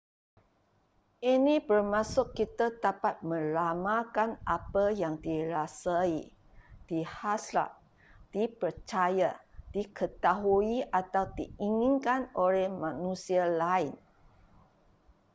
ini bermaksud kita dapat meramalkan apa yang dirasai dihasrat dipercaya diketahui atau diinginkan oleh manusia lain